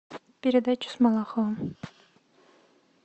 передача с малаховым